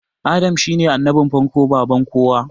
Adam shine annabin farko baban kowa